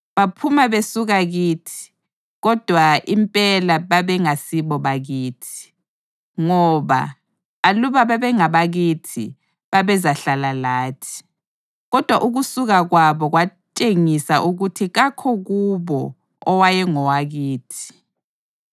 Baphuma besuka kithi, kodwa impela babengasibo bakithi. Ngoba aluba babengabakithi, babezahlala lathi; kodwa ukusuka kwabo kwatshengisa ukuthi kakho kubo owayengowakithi.